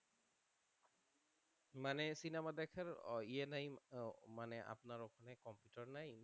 মানে সিনেমা দেখার ইয়ে নাই মানে আপনার কম্পিউটার নাই